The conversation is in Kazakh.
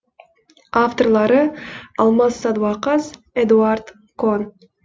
авторлары алмас садуақас эдуард кон